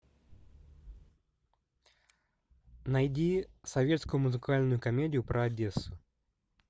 найди советскую музыкальную комедию про одессу